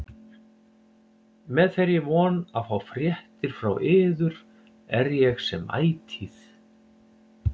Með þeirri von að fá fréttir frá yður er ég sem ætíð